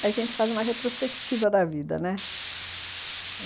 É, a gente faz uma retrospectiva da vida, né?